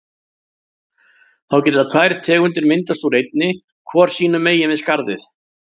Þá geta tvær tegundir myndast úr einni, hvor sínum megin við skarðið.